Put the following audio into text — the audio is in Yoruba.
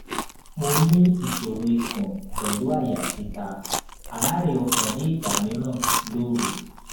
mo ní ìṣòro ikun pelu aya tita àárè ọkàn ni igba miran lòru